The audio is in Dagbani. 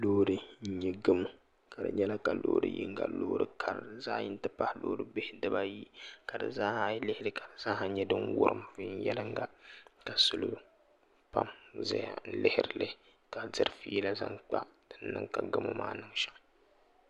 Loori n nyɛ gamo ka di nyɛla ka loori yinga Loori kara zaɣ yini ti pahi Loori bihi ka di zaaha nyɛ din wurim viɛnyɛlinga ka salo pam ʒɛya lihirili ka diri fiila zaŋ kpa din niŋ ka gamo maa niŋ shɛm